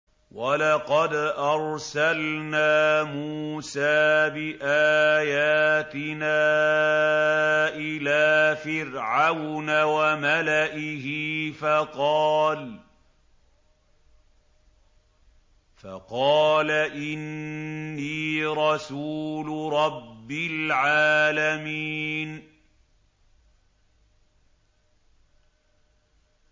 وَلَقَدْ أَرْسَلْنَا مُوسَىٰ بِآيَاتِنَا إِلَىٰ فِرْعَوْنَ وَمَلَئِهِ فَقَالَ إِنِّي رَسُولُ رَبِّ الْعَالَمِينَ